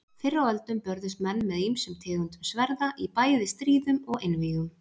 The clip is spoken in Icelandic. Fyrr á öldum börðust menn með ýmsum tegundum sverða í bæði stríðum og einvígum.